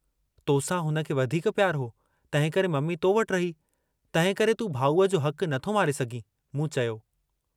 तोसां हुनखे वधीक पियारु हो, तंहिंकरे मम्मी तो वटि रही, तंहिंकरे तूं भाऊअ जो हकु नथो मारे सघीं।